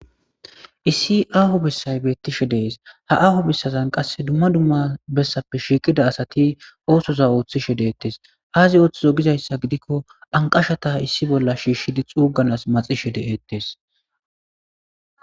Issi aaho bessay beetishe des ha aaho bessazan qasi dumma dumma bessappe shiiqida asati oothoza oothishe deetes aazi oothizo gizayssa gidiko anqashata issi bolla shishidi xuuganas maxishe de'etes.